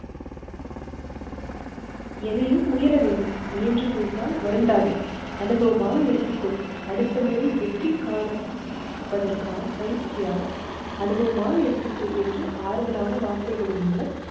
எதையும் முயல வேண்டும். முயன்று தோற்றால் வருந்தாதே அனுபவமாக எடுத்துக்கொள். அடுத்த முறை வெற்றி காண பெருவதற்கான பயிற்சியாக அனுபமாக எடுத்துக்கொள் என்று ஆறுதலான வார்த்தைகளின்மூலம்